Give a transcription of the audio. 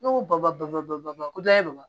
Ne ko ba ba ko dɔ ye wa